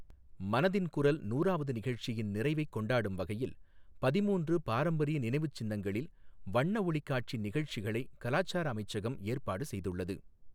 மனதின் குரல் நூறாவது நிகழ்ச்சியின் நிறைவைக் கொண்டாடும் வகையில் பதிமூன்று பாரம்பரிய நினைவுச் சின்னங்களில் வண்ண ஒளிக் காட்சி நிகழ்ச்சிகளை கலாச்சார அமைச்சகம் ஏற்பாடு செய்துள்ளது.